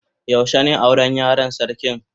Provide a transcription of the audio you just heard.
Yaushe ne Yaran yaron sarkin?